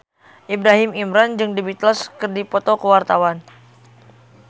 Ibrahim Imran jeung The Beatles keur dipoto ku wartawan